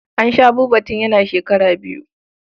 An sha Buba tun yana shekara biyu.